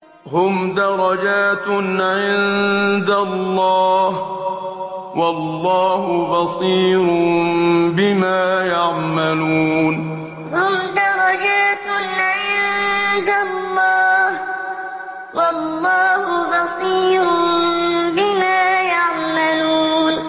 هُمْ دَرَجَاتٌ عِندَ اللَّهِ ۗ وَاللَّهُ بَصِيرٌ بِمَا يَعْمَلُونَ هُمْ دَرَجَاتٌ عِندَ اللَّهِ ۗ وَاللَّهُ بَصِيرٌ بِمَا يَعْمَلُونَ